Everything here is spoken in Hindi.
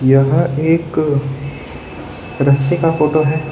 यह एक रस्ते का फोटो है।